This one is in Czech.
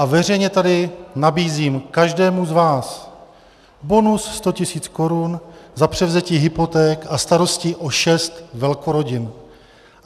A veřejně tady nabízím každému z vás bonus 100 tisíc korun za převzetí hypoték a starostí o šest velkorodin.